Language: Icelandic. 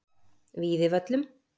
Víðivöllum